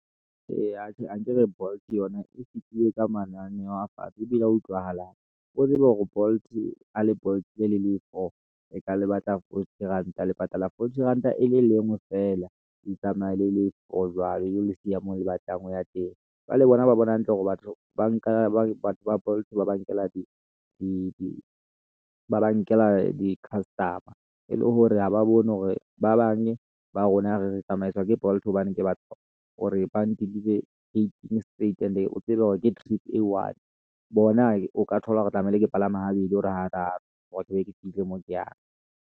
Ee, atjhe, ankere Bolt yona e fitile ka mananeho a fatshe ebile a utlwahalang. O tsebe hore Bolt, ha le Bolt-ile le le i-four e ka le batla forty ranta e le nngwe feela, le tsamaye le le i-four jwalo e lo le siya mo le batlang ho ya teng. Jwale bona ba bona hantle hore batho ba nka batho ba Bolt ba ba nkela di-customer-e le hore ha ba bone hore ba bang ba rona re tsamaiswa ke Bolt hobane ke batla hore bang deliver gating straight and-e o tsebe hore ke trip e i-one bona o ka thola hore tlamehile ke palama habedi or hararo hore ke be ke fihle moo ke yang.